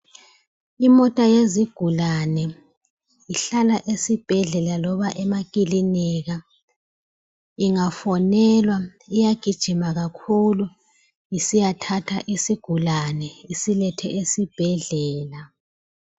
Imota yezigulane ihlala esibhedlela loba emakilinika, ingafonelwa iyagijima kakhulu isiyathatha isigulane isilethe esibhedlela.